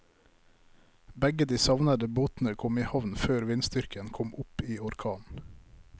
Begge de savnede båtene kom i havn før vindstyrken kom opp i orkan.